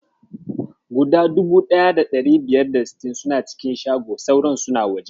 Guda 1560 suna cikin shago, sauran suna waje.